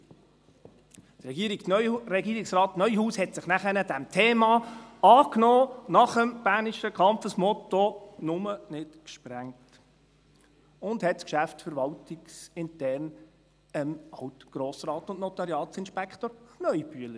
Danach nahm sich Regierungsrat Neuhaus dieses Themas an, nach dem bernischen Kampfesmotto «nume nid gsprängt», und übergab es geschäftsverwaltungsintern an Alt-Grossrat und Notariatsinspektor Kneubühler.